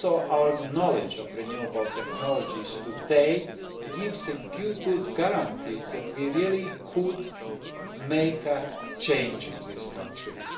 Our knowledge of renewable technologies today gives a good guarantee that we really could make a change in these countries.